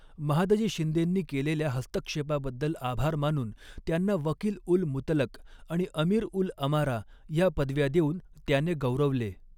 महादजी शिंदेंनी केलेल्या हस्तक्षेपाबद्दल आभार मानून त्यांना वकील उल मुतलक आणि अमीर उल अमारा ह्या पदव्या देऊन त्याने गौरवले.